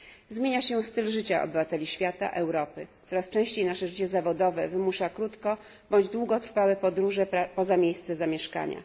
Zmienia się styl życia obywateli świata, Europy, coraz częściej nasze życie zawodowe wymusza krótko bądź długotrwałe podróże poza miejsce zamieszkania.